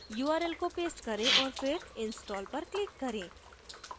url को paste करें औऱ फिर install पर click करें